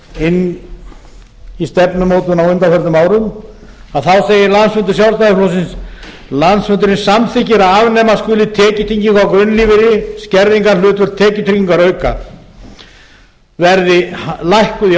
inn í stefnumótun á undanförnum árum þá segir landsfundur sjálstfl landsfundurinn samþykkir að afnema skuli tekjutengingu frá grunnlífeyri skerðingarhlutföll tekjutryggingarauka verði lækkuð í